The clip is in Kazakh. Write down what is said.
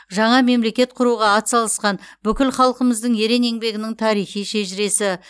жаңа мемлекет құруға атсалысқан бүкіл халқымыздың ерен еңбегінің тарихи шежіресі